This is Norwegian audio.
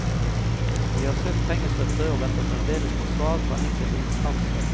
Vi har søkt pengestøtte og venter fremdeles på svar fra enkelte instanser.